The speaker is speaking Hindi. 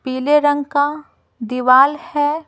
पीले रंग का दीवाल है।